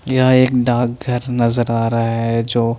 या एक डाकघर नज़र आरा है जो--